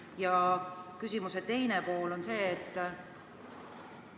Ja küsimuse teine pool on selline.